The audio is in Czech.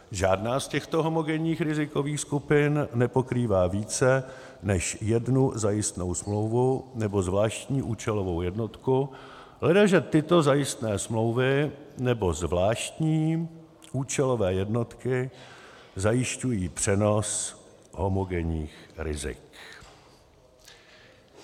Žádná z těchto homogenních rizikových skupin nepokrývá více než jednu zajistnou smlouvu nebo zvláštní účelovou jednotku, ledaže tyto zajistné smlouvy nebo zvláštní účelové jednotky zajišťují přenos homogenních rizik.